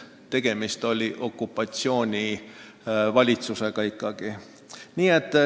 Tegemist oli ikkagi okupatsioonivalitsusega.